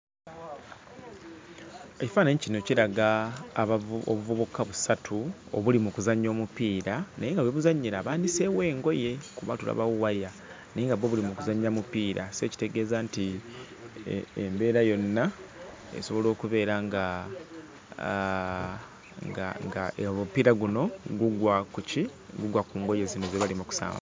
EKifaananyi kino kiraga abavu obuvubaka busatu obuli mu kuzannya omupiira naye nga we buzannyira baaniseewo engoye, kuba tulabawo waya naye nga bwo buli mu kuzannya mupiira. So ekitegeeza nti embeera yonna esobola okubeera nga, aa nga ng'omupiira guno gugwa ku ki? Gugwa ku ngoye zino ze bali mu kusamba.